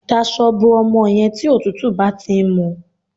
Dasọ bo ọmọ yẹn tí òtútù bá ti ń mú